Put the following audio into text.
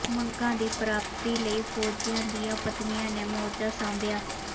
ਮੰਗਾਂ ਦੀ ਪ੍ਰਾਪਤੀ ਲਈ ਫ਼ੌਜੀਆਂ ਦੀਆਂ ਪਤਨੀਆਂ ਨੇ ਮੋਰਚਾ ਸਾਂਭਿਆ